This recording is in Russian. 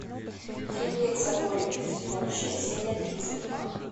триплексоголик сезон шесть серия тридцать два